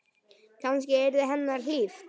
Kannski yrði henni hlíft.